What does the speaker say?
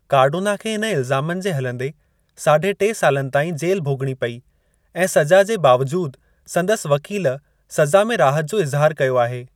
Cardona खे हिन इलज़ामनि जे हलंदे साढे टे सालनि ताईं जेल भोग॒णी पेई ऐं सज़ा जे बावजूद संदसि वकील सज़ा में राहत जो इज़हारु कयो आहे।